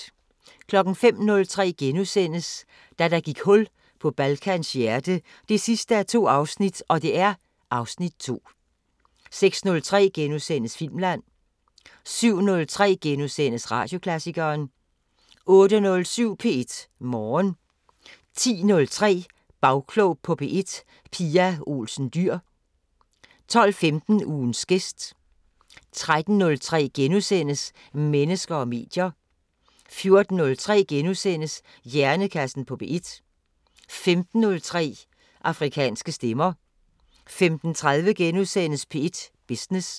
05:03: Da der gik hul på Balkans hjerte 2:2 (Afs. 2)* 06:03: Filmland * 07:03: Radioklassikeren * 08:07: P1 Morgen 10:03: Bagklog på P1: Pia Olsen Dyhr 12:15: Ugens gæst 13:03: Mennesker og medier * 14:03: Hjernekassen på P1 * 15:03: Afrikanske Stemmer 15:30: P1 Business *